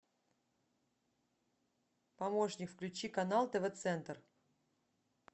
помощник включи канал тв центр